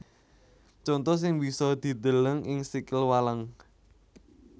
Conto sing bisa dideleng ing sikil walang